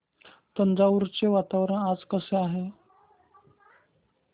तंजावुर चे वातावरण आज कसे आहे